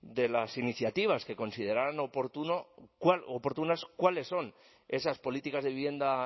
de las iniciativas que consideraran oportunas cuáles son esas políticas de vivienda